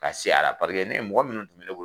Ka se a la paseke ne ye mɔgɔ munnu kun bɛ ne bolo